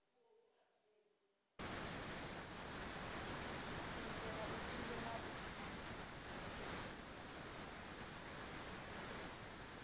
u itela u thivhela u